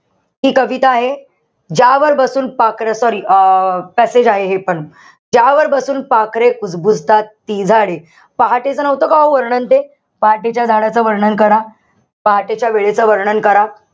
ती कविता आहे, ज्यावर बसून पाखरं sorry अं passage आहे हे पण. ज्यावर बसून पाखरे कुजबुजतात, ती झाडे. पहाटेचं नव्हतं का हो वर्णन ते? पहाटेच्या झाडाचं वर्णन करा. पहाटेच्या वेळेचं वर्णन करा.